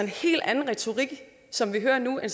helt anden retorik som vi hører nu end